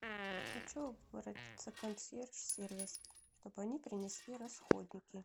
хочу обратиться в консьерж сервис чтобы они принесли расходники